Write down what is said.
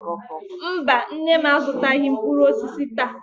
Mba, nne m azụtaghị mkpụrụ osisi taa.